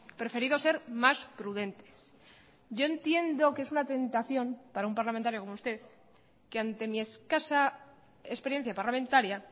preferido ser más prudentes yo entiendo que es una tentación para un parlamentario como usted que ante mi escasa experiencia parlamentaria